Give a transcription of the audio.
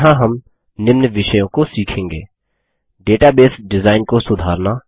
और यहाँ हम निम्न विषयों को सीखेंगे डेटाबेस डिजाइन को सुधारना